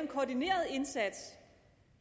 en koordineret indsats